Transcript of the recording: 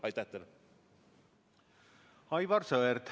Aivar Sõerd, palun!